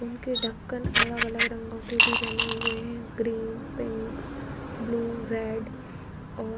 उनके ढक्कन अलग-अलग रंगों के भी बने हुए हैं ग्रीन पिंक ब्लू रेड और --